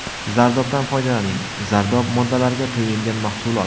Zardobdan foydalaning Zardob – moddalarga to‘yingan mahsulot.